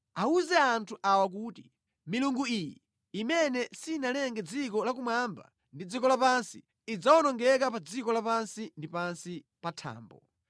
“Awuze anthu awa kuti, ‘Milungu iyi, imene sinalenge dziko lakumwamba ndi dziko lapansi, idzawonongeka pa dziko lapansi ndi pansi pa thambo.’ ”